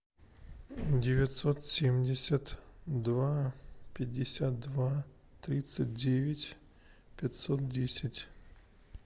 девятьсот семьдесят два пятьдесят два тридцать девять пятьсот десять